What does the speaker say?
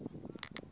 ndzawulo